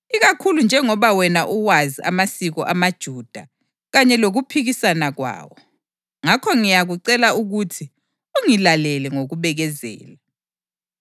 ikakhulu njengoba wena uwazi amasiko amaJuda kanye lokuphikisana kwawo. Ngakho ngiyakucela ukuthi ungilalele ngokubekezela.